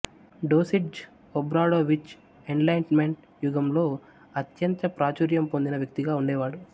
డోసిట్జ్ Obradovic enlightenment యుగంలో అత్యంత ప్రాచుర్యం పొందిన వ్యక్తిగా ఉండేవాడు